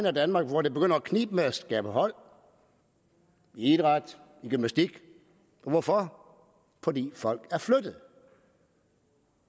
af danmark hvor det begynder at knibe med at skabe hold i idræt i gymnastik hvorfor fordi folk er flyttet